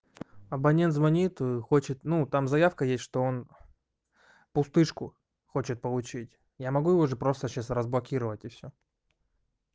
абонент звонит хочет ну там заявка есть что он пустышку хочет получить я могу его же просто сейчас разблокировать и всё